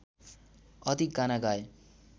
अधिक गाना गाए